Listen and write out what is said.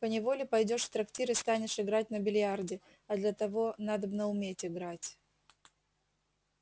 поневоле пойдёшь в трактир и станешь играть на бильярде а для того надобно уметь играть